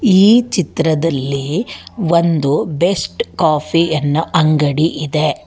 ಈ ಚಿತ್ರದಲ್ಲಿ ಒಂದು ಬೆಸ್ಟ್ ಕಾಫಿ ಯನ್ನೋ ಅಂಗಡಿ ಇದೆ.